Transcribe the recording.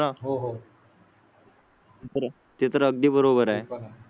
हो हो. तर ते तर अगदी बरोबर आहे.